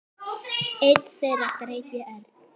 Einn þeirra greip í Örn.